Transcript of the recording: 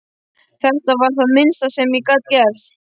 Þetta var það minnsta sem ég gat gert